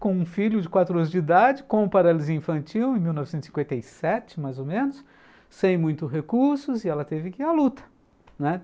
com um filho de quatro anos de idade, com paralisia infantil em em mil novecentos e cinquenta e sete, mais ou menos, sem muitos recursos, e ela teve que ir à luta, né.